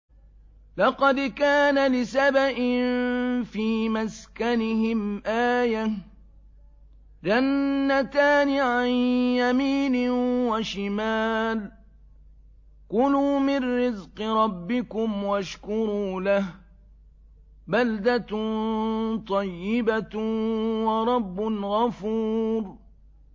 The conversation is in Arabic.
لَقَدْ كَانَ لِسَبَإٍ فِي مَسْكَنِهِمْ آيَةٌ ۖ جَنَّتَانِ عَن يَمِينٍ وَشِمَالٍ ۖ كُلُوا مِن رِّزْقِ رَبِّكُمْ وَاشْكُرُوا لَهُ ۚ بَلْدَةٌ طَيِّبَةٌ وَرَبٌّ غَفُورٌ